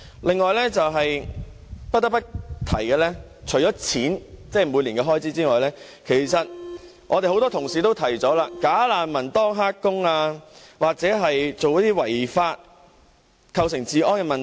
另外，不得不提的是，除了錢，即每年的開支外，很多同事也提到"假難民"當"黑工"又或做違法的事而構成治安問題。